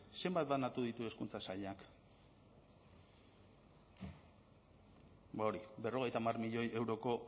zenbat banatu ditu hezkuntza sailak ba hori berrogeita hamar milioi euroko